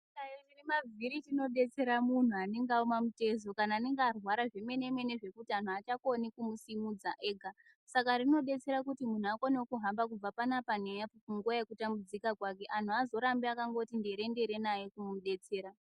Chihlayo chine mavhiri chinodetsera munhu anenge aoma mutezo kana anenge arwara zvemenemene zvekuti anhu aachakoni kumusimudza ega saka rinodetsera kuti munhu akonewo kuhamba kubve pano apa neapo mukutambudzika kwake anhu aazorambi akati nderendere naye kumudetsera.